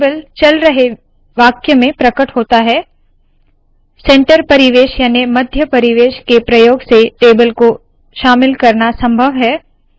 यह टेबल चल रहे वाक्य में प्रकट होता है सेंटर परिवेश याने मध्य परिवेश के प्रयोग से टेबल को शामिल करना संभव है